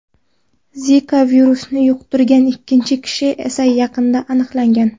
Zika virusini yuqtirgan ikkinchi kishi esa yaqinda aniqlangan.